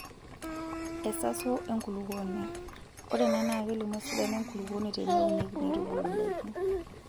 Esaso enkulukuoni:ore ena naa kelimu esidano enkulukuoni teneunieki neitubulu ndaiki.